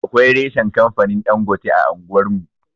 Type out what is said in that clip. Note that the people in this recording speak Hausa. Akwai reshan kamfanin Ɗangote a anguwar mu.